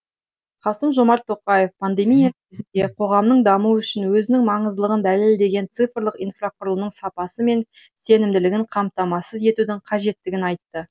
қасым жомарт тоқаев пандемия кезінде қоғамның дамуы үшін өзінің маңыздылығын дәлелдеген цифрлық инфрақұрылымның сапасы мен сенімділігін қамтамасыз етудің қажеттігін айтты